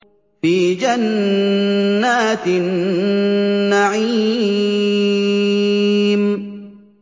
فِي جَنَّاتِ النَّعِيمِ